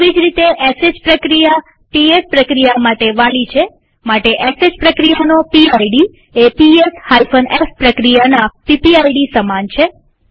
તેવી જ રીતે શ પ્રક્રિયા પીએસ પ્રક્રિયા માટે વાલી છે માટે શ પ્રક્રિયાનો પીડ એ પીએસ f પ્રક્રિયાના પીપીઆઈડી સમાન છે